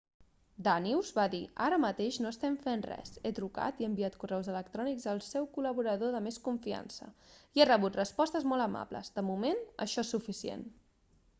danius va dir ara mateix no estem fent res he trucat i enviat correus electrònics al seu col·laborador de més confiança i he rebut respostes molt amables de moment això és suficient